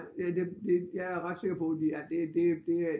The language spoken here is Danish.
Det jeg er ret sikker på at de er det er det